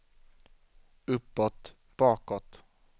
uppåt bakåt